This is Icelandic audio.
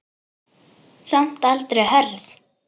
Samt aldrei hörð.